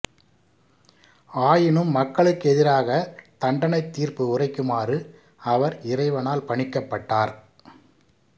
ஆயினும் மக்களுக்கெதிராகத் தண்டனைத் தீர்ப்பு உரைக்குமாறு அவர் இறைவனால் பணிக்கப்பட்டார்